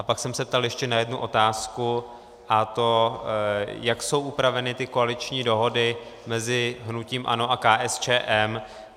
A pak jsem se ptal ještě na jednu otázku, a to jak jsou upraveny ty koaliční dohody mezi hnutím ANO a KSČM.